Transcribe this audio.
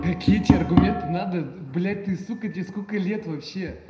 какие документы надо блять ты с тебе сколько лет вообще